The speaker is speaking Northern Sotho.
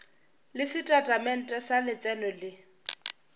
le setatamente sa letseno le